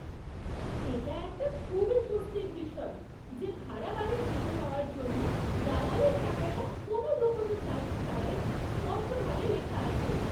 এটা একটা খুবই স্বস্তির বিষয় যে ভাড়া বাড়ি খুঁজে পাওয়ার জন্য দালালির টাকাটা কোনও লুকোনো চার্জ ছাড়াই স্পষ্টভাবে লেখা আছে।